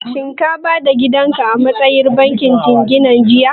Shin ka ba da gidan ka a matsayin jingina a bankin jingina jiya?